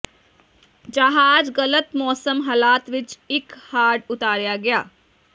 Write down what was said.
ਜਹਾਜ਼ ਗਲਤ ਮੌਸਮ ਹਾਲਾਤ ਵਿੱਚ ਇੱਕ ਹਾਰਡ ਉਤਾਰਿਆ ਗਿਆ